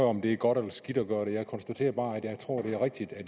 om det er godt eller skidt at gøre det jeg konstaterer bare at jeg tror at det er rigtigt at